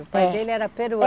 O pai dele era peruano.